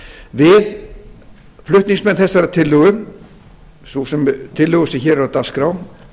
við flutningsmenn þessarar tillögu sem hér er á dagskrá